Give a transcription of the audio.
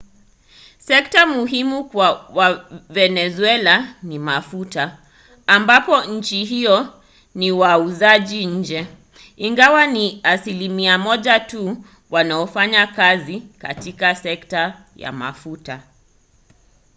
sekta muhimu kwa wavenezuela ni mafuta ambapo nchi hiyo ni wauzaji nje ingawa ni asilimia moja tu wanaofanya kazi katika sekta ya mafuta